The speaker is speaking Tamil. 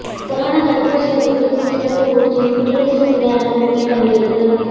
கொரோனா தடுப்பூசியை விவரிக்கும் சிறப்பு ஊர்தியும் குடியரசு தின அணிவகுப்பில் பங்கேற்பு